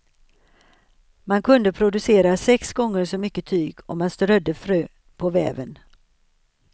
Man kunde producera sex gånger så mycket tyg om man strödde frön på väven.